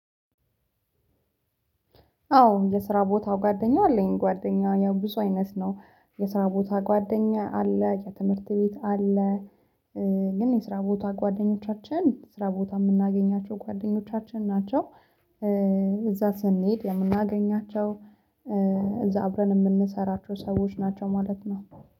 አዎ የስራ ቦታው ጓደኛ አለኝ ጓደኛ ያው ብዙ አይነት ነው የስራ ቦታ ጓደኛ አለ የትምህርት ቤት አለ ግን የስራ ቦታ ጓደኞቻችን ስራ ቦታ የምናገኛቸው ጓደኞቻችን ናቸው። እዛ ስንሄድ የምናገኛቸው አብረን የምንሰራቸው ሰዎች ናቸው ማለት ነው